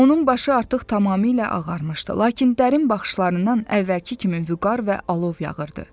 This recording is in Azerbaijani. Onun başı artıq tamamilə ağarmışdı, lakin dərin baxışlarından əvvəlki kimi vüqar və alov yağırdı.